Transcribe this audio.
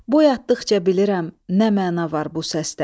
Duyadıqca bilirəm nə məna var bu səsdə.